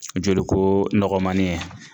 Jolikoo nɔgɔmani ye